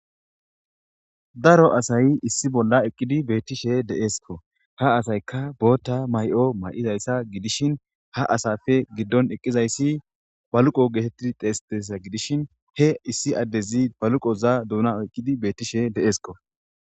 daro asay issi bolla eqqidi beettishe deskko ha asayka bootta may7o may7izayssa gidishin ha asafe giddon eqqizayssi baluqo geetetti teestesa gidishin he issi addezi baluqoza duuna eqqidi beettishe deesko